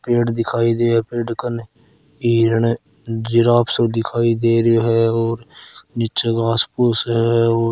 पेड़ दिखाई दे पेड़ कने हिरन है जीराफ़ सो दिखाई दे रियो है और नीचे घास फूस है और --